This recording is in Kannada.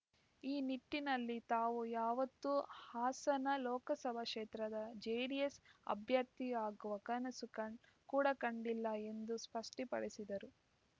ಈ ನಿಟ್ಟಿನಲ್ಲಿ ತಾವು ಯಾವತ್ತೂ ಹಾಸನ ಲೋಕಸಭಾ ಕ್ಷೇತ್ರದ ಜೆಡಿಎಸ್‌ ಅಭ್ಯರ್ಥಿ ಆಗುವ ಕನಸು ಕಂಡ ಕೂಡ ಕಂಡಿಲ್ಲ ಎಂದು ಸ್ಪಷ್ಟಪಡಿಸಿದರು